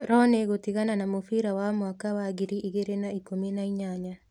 Rooney gũtigana na mũbira wa mwaka wa ngiri igĩrĩ na ikũmi na inyanya